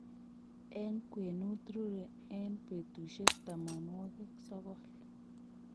eng' kwenut rurei eng' putusyek tamanwogik sogol.